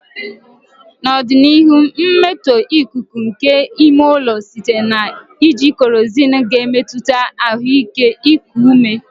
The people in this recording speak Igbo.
N'ọdịnihu, mmetọ ikuku nke ime ụlọ site na iji kerozinu ga-emetụta ahụike iku ume.